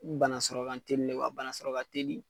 Banasɔrɔ ka telile wa banasɔrɔ ka teli.